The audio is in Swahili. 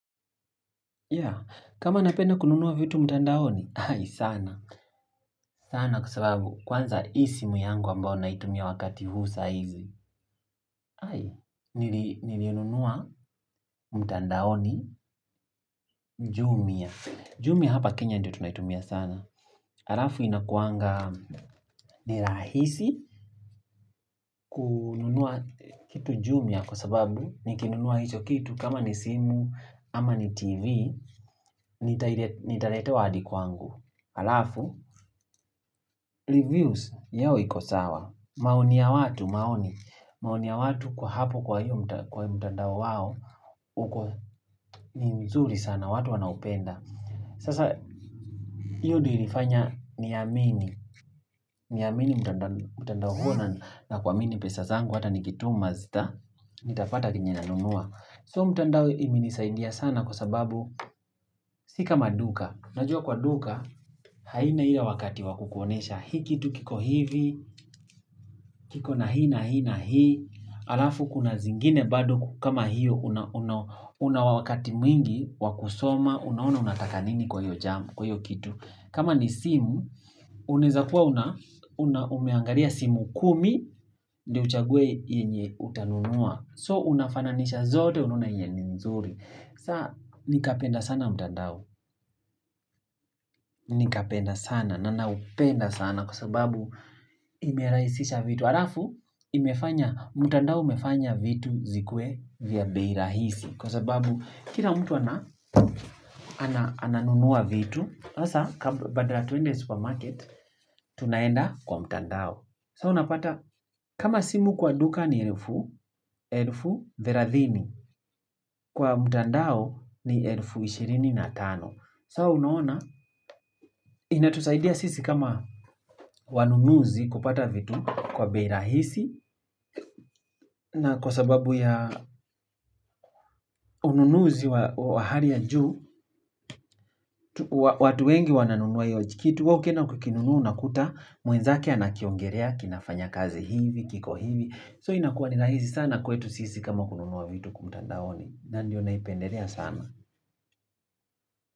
Ya, kama napenda kununua vitu mtandaoni, ai, sana, sana kwa sababu kwanza hii simu yangu ambayo naitumia wakati huu saa hizi, ai, niliinunua mtandaoni Jumia, Jumia hapa Kenya ndiyo tunaitumia sana, halafu inakuanga ni rahisi kununua kitu Jumia kwa sababu nikinunua hicho kitu kama ni simu ama ni TV, nitaletewa hadi kwangu, halafu reviews yao iko sawa maoni ya watu maoni maoni ya watu kwa hapo kwa hiyo kwa mtandao wao uko ni mzuri sana watu wanaupenda Sasa hiyo ndiyo ilifanya niamini niamini mtandao huo na kuamini pesa zangu hata nikituma nitapata chenye nanunua so mtandao imenisaidia sana kwa sababu si kama duka unajua kwa duka haina hiyo wakati wa kukuonyesha hii kitu kiko hivi kiko na hii na hii na hii halafu kuna zingine bado kama hiyo Una wakati mwingi wa kusoma unaona unataka nini kwa hiyo jam kwa hiyo kitu kama ni simu unaweza kuwa umeangalia simu kumi ndiyo uchague yenye utanunua so unafananisha zote unaona yenye ni nzuri sasa nikapenda sana mtandao Nikapenda sana na naupenda sana kwa sababu imerahisisha vitu halafu imefanya mtandao umefanya vitu zikuwe vya bei rahisi. Kwa sababu kila mtu ananunua vitu, sasa badala twende supermarket, tunaenda kwa mtandao. Sasa unapata, kama simu kwa duka ni elfu, elfu thelathini. Kwa mtandao ni elfu ishirini na tano. Sasa unaona inatusaidia sisi kama wanunuzi kupata vitu kwa bei rahisi. Na kwa sababu ya ununuzi wa hali ya juu watu wengi wananunua hiyo kitu wewe ukienda ukikinunua unakuta mwenzake anakiongelea kinafanya kazi hivi kiko hivi so inakuwa ni rahisi sana kwetu sisi kama kununua vitu kwa mtandaoni na ndiyo naipendelea sana.